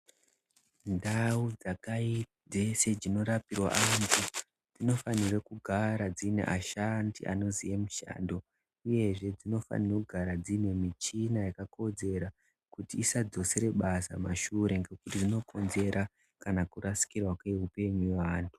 Ndau dzeshedzinorapirwa vantu dzinofanirwa kugara dzine vashandi vanoziva mushando uyezve dzinofanira kugara dzine michina yakakodzera kuti isadzosere basa kumashure ngekuti inokonzera kurasikirwa kweupenyu hwevantu.